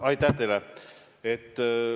Aitäh teile!